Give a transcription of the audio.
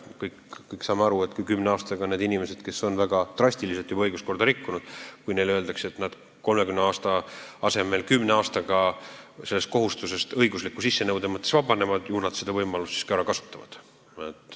Kõik me saame aru, et kui inimestele, kes on väga drastiliselt õiguskorda rikkunud, öeldakse, et nad 30 aasta asemel vabanevad 10 aastaga õigusliku sissenõude täitmise kohustusest, siis nad seda võimalust ka kasutavad.